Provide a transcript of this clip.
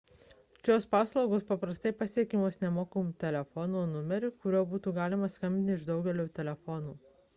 šios paslaugos paprastai pasiekiamos nemokamu telefonu numeriu kuriuo galima skambinti iš daugumos telefonų